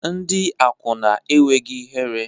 Ndị akwụna enweghị ihere